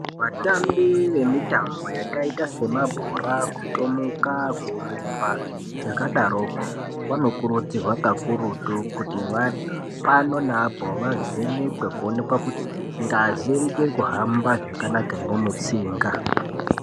Vatambi vemitambo yakaita semabhora kutomuka kurumba yakadaroko vanokururdzirwa kakurutu kuti pano neapo vavhenekwe kuonekwa kuti ngazi ichirikuhamba zvakanaka ere mutsinga.